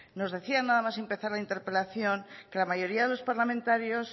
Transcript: nos decía nada más empezar la interpelación que la mayoría de los parlamentarios